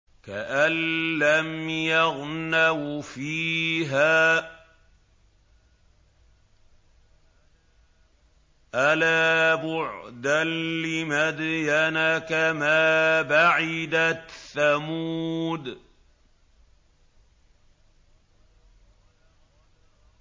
كَأَن لَّمْ يَغْنَوْا فِيهَا ۗ أَلَا بُعْدًا لِّمَدْيَنَ كَمَا بَعِدَتْ ثَمُودُ